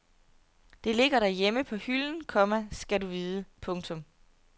Det ligger derhjemme på hylden, komma skal du vide. punktum